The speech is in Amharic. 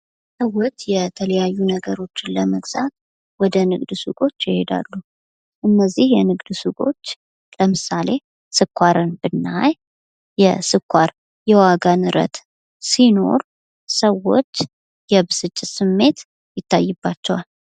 ስዎች የተለያዩ ነገሮችን ለመግዛት ወደ ንግድ ሱቆች ይሄዳሉ ። እነዚህ የንግድ ሱቆች ለምሳሌ ስኳርን ብናይ የስኳር የዋጋ ንረት ሲኖር ሰዎች የብስጭት ስሜት ይታይባቸዋል ።